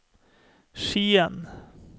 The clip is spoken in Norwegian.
Skien